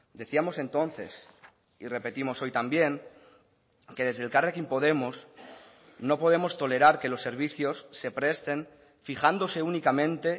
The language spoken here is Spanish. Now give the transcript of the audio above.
decíamos entonces y repetimos hoy también que desde elkarrekin podemos no podemos tolerar que los servicios se presten fijándose únicamente